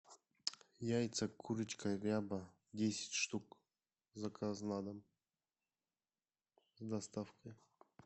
яйца курочка ряба десять штук заказ на дом с доставкой